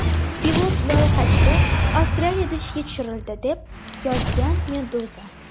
Pilot loyihasi Avstraliyada ishga tushirildi, deb yozgan Meduza.